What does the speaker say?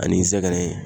Ani n sɛgɛnnen